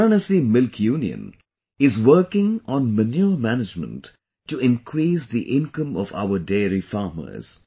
Varanasi Milk Union is working on manure management to increase the income of our dairy farmers